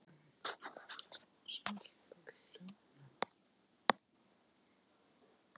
Ársins gróða þýðir það,